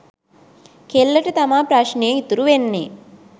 කෙල්ලට තමා ප්‍රශ්නය ඉතුරු වෙන්නේ.